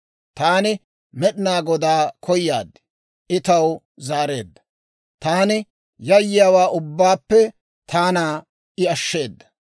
Taani Med'inaa Godaa koyaad; I taw zaareedda; taani yayyiyaawaa ubbaappe taana I ashsheedda.